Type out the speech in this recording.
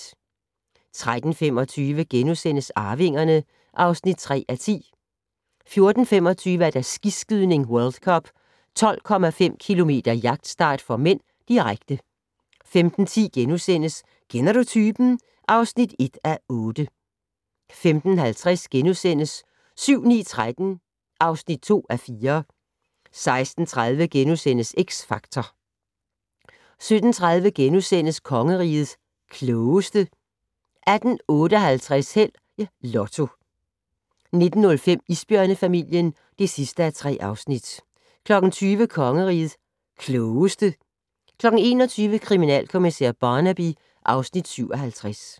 13:25: Arvingerne (3:10)* 14:25: Skiskydning: World Cup - 12,5 km jagtstart (m), direkte 15:10: Kender du typen? (1:8)* 15:50: 7-9-13 (2:4)* 16:30: X Factor * 17:30: Kongerigets Klogeste * 18:58: Held og Lotto 19:05: Isbjørnefamilien (3:3) 20:00: Kongerigets Klogeste 21:00: Kriminalkommissær Barnaby (Afs. 57)